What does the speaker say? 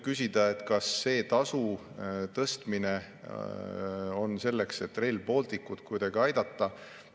Kas see tasu tõstmine on selleks, et Rail Balticut kuidagi aidata?